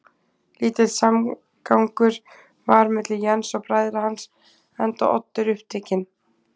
Lítill samgangur var milli Jens og bræðra hans, enda Oddur upptekinn